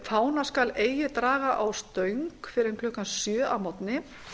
fána skal eigi draga á stöng fyrr en klukkan sjö að morgni